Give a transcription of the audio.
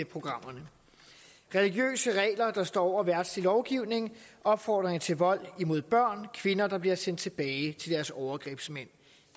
programmerne religiøse regler der står over verdslig lovgivning opfordring til vold imod børn kvinder der bliver sendt tilbage til deres overgrebsmænd